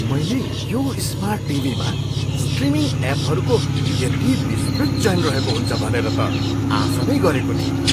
मैले यो स्मार्ट टिभीमा स्ट्रिमिङ एपहरूको यति विस्तृत चयन रहेको हुन्छ भनेर त आशा नै गरेको थिइनँ।